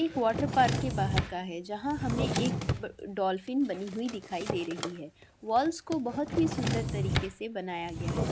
एक वरटा_पार्क के बहार का है जहा हमे एक डॉल्फिन दिखाई दे रही है वाल्स को बहूत ही सुन्दर तरीके से बनाया गया है|